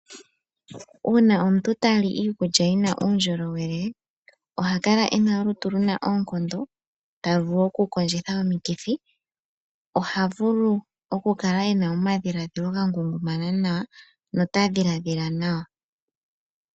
Uuna omuntu tali iikulya yina uundjolowele oha kala ena olutu luna oonkondo talu vulu okukondjitha omikithi. Oha vulu okukala ena omadhiladhilo ga ngungumana nawa notadhiladhila nawa.